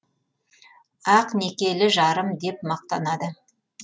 ақ некелі жарым деп мақтанады